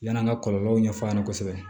Yann'an ka kɔlɔlɔw ɲɛfɔ a ɲɛna kosɛbɛ